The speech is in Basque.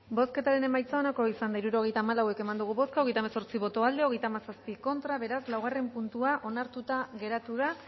bozketaren emaitza onako izan da hirurogeita hamabost eman dugu bozka hogeita hemezortzi boto aldekoa treinta y siete contra beraz laugarren puntua onartuta geratu da